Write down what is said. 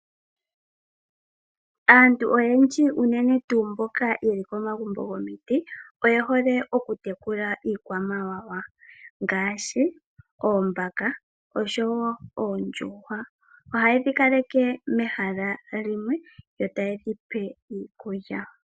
Aantu oyendji unene tuu mboka yeli komagumbo gomiti. Oye hole oku tekula iikwamawawa ngaashi oombaka osho woo oondjuhwa. Ohayedhi kaleke mehala limwe yo tayedhi pe woo iikulya.